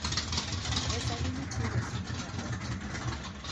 e sanni nitiere sub karot